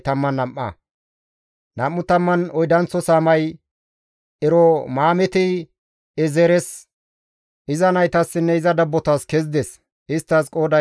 Nam7u tammanne oydanththo saamay Eromaamte-Eezeres, iza naytassinne iza dabbotas kezides; isttas qooday 12.